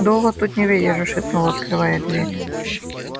долго тут не выдержишь шепнул открывая дверь